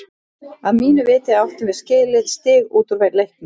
Að mínu viti áttum við skilið stig út úr leiknum.